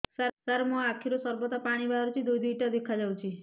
ସାର ମୋ ଆଖିରୁ ସର୍ବଦା ପାଣି ବାହାରୁଛି ଦୁଇଟା ଦୁଇଟା ଦେଖାଯାଉଛି